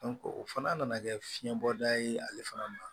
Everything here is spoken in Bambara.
o fana nana kɛ fiɲɛbɔda ye ale fana ma